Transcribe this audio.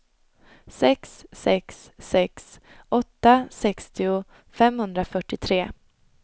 sex sex sex åtta sextio femhundrafyrtiotre